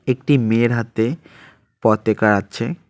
একটি মেয়ের হাতে পতেকা আছে।